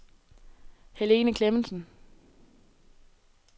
Helene Clemmensen